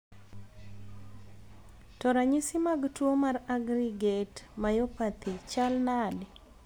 to ranyisi mag tuo mar aggregate myopathy chal nade?